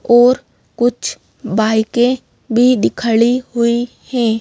और कुछ बाईकें भी खड़ी हुई हैं।